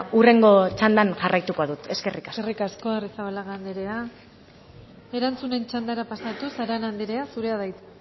hurrengo txandan jarraituko dut eskerrik asko eskerrik asko arrizabalaga anderea erantzunen txandara pasatuz arana anderea zurea da hitza